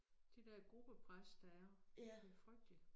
Det der gruppepres der er det frygteligt